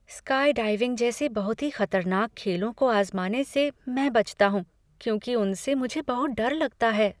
Skydiving जैसे बहुत ही खतरनाक खेलों को आजमाने से मैं बचाता हूँ क्योंकि उनसे मुझे बहुत डर लगता है।